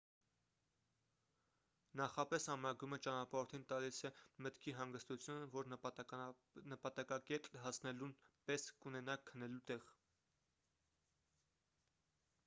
նախապես ամրագրումը ճանապարհորդին տալիս է մտքի հանգստություն որ նպատակակետ հասնելուն պես կունենան քնելու տեղ